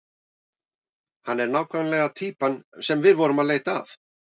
Hann er nákvæmlega týpan sem við vorum að leita að.